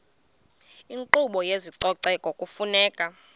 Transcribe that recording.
inkqubo yezococeko kufuneka